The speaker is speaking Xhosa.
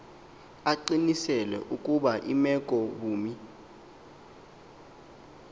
aqiniseke ukuba imekobume